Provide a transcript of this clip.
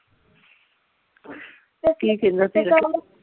ਕੀ ਕਹਿੰਦਾ ਤੇਰਾ